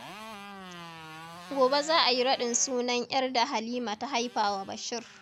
Gobe za a yi raɗin sunan 'yar da Halima ta haifa wa Bashir.